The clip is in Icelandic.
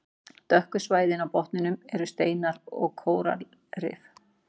Dökku svæðin á botninum eru steinar og kóralrif.